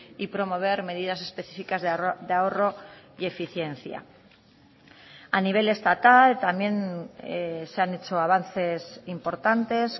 y promover medidas específicas de ahorro y eficiencia a nivel estatal también se han hecho avances importantes